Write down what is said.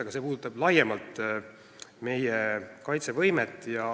Aga see puudutab laiemalt meie kaitsevõimet.